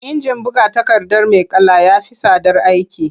Injin buga takarda mai kala ya fi tsadar aiki.